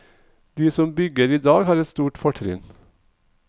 De som bygger i dag har et stort fortrinn.